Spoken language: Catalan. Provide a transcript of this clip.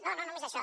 no no no només això